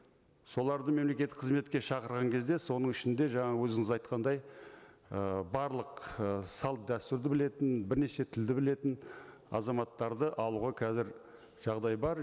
соларды мемлекеттік қызметке шақыраған кезде соның ішінде жаңа өзіңіз айтқандай ы барлық ы салт дәстүрді білетін бірнеше тілді білетін азаматтарды алуға қазір жағдай бар